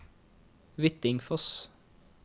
Hvittingfoss